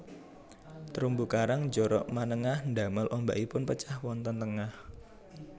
Terumbu karang njorok manengah ndamel ombakipun pecah wonten tengah